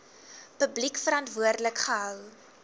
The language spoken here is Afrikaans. publiek verantwoordelik gehou